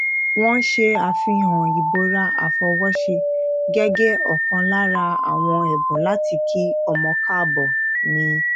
wọn ṣe àfihàn ìbora àfọwóṣe gẹgẹ ọkan lára àwọn ẹbùn láti kí ọmọ káàbọ ni